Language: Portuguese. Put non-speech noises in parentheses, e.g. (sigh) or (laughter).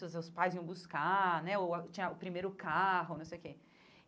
(unintelligible) os pais iam buscar né, ou tinha ah o primeiro carro, não sei o quê.